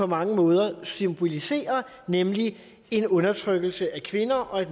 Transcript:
mange måder symboliserer nemlig en undertrykkelse af kvinder og